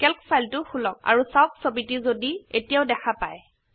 Calc ফাইলটো খোলক আৰু চাওক ছবিটো যদি এতিয়াও দেখা পাই